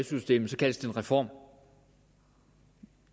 systemet kaldes det en reform